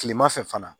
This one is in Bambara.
Kilema fɛ fana